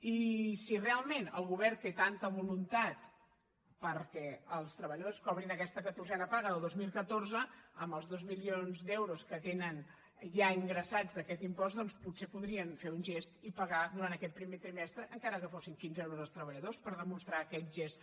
i si realment el govern té tanta voluntat perquè els treballadors cobrin aquesta catorzena paga del dos mil catorze amb els dos milions d’euros que tenen ja ingressats d’aquest impost doncs potser podrien fer un gest i pagar durant aquest primer trimestre encara que fossin quinze euros als treballadors per demostrar aquest gest